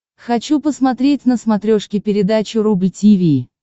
хочу посмотреть на смотрешке передачу рубль ти ви